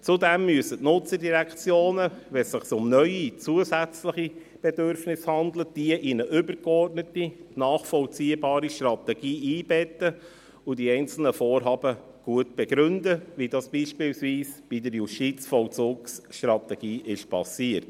Zudem müssen die Nutzerdirektionen, wenn es sich um neue, zusätzliche Bedürfnisse handelt, diese in eine übergeordnete, nachvollziehbare Strategie einbetten und die einzelnen Vorhaben gut begründen, so wie das beispielsweise bei der Justizvollzugsstrategie geschah.